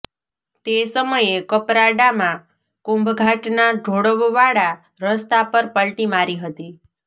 તે સમયે કપરાડામાં કુંભઘાટના ઢોળવવાળા રસ્તા પર પલ્ટી મારી હતી